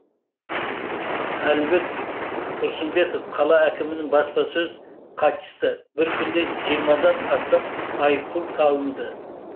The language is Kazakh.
әлібек тұрсымбетов қала әкімінің баспасөз хатшысы бір күнде жиырмадан астам айыппұл салынды